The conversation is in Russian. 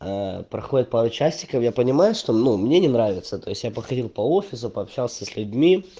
ээ проходит пару часиков я понимаю что ну мне не нравится то есть я походил по офису пообщался с людьми